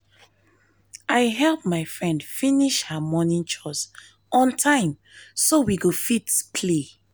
i help my friend finish her morning chores on time so we go fit play